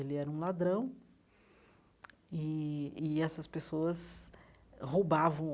Ele era um ladrão e e essas pessoas roubavam